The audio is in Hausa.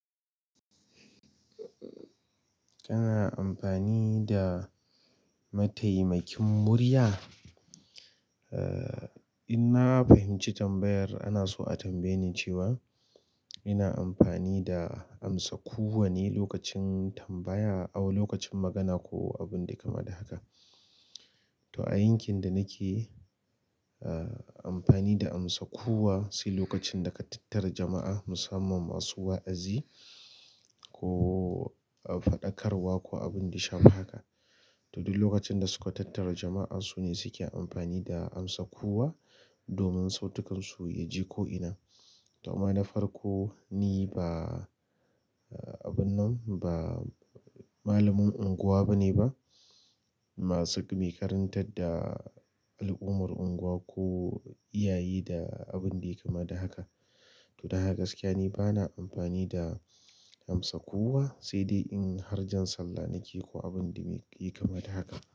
Kana amfani da mataimakin murya? Eh, in na fahimci tambayar ana so a tambaye ni cewa ina amfani da amsa kuwa ne lokacin tambaya aw lokacin magana ko abin da kamar haka. To a yankin da nake, ah, amfani da amsa kuwa sai lokacin da ka tattara jama'a musamman masu wa'azi ko aw faɗakarwa ko abinda ya shafu haka to duk lokacin da suka tattara jama'a su ne suke amfani da amsa kuwa domin sautukansu ya ji ko'ina. Amma na farko ni ba abin ba malamin unguwa bane ba masu me karantar da al'uman unguwa ko iyaye ko abinda yayi kama da haka to don haka gaskiya ni bana amfani da amsa kuwa sai dai in har jan sallah nake ko abin da mai yi kama da haka.